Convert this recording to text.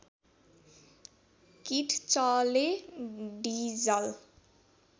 किट्चले diesel